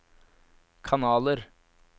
kanaler